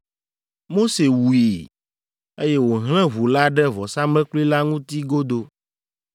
Mose wui, eye wòhlẽ ʋu la ɖe vɔsamlekpui la ŋuti godoo.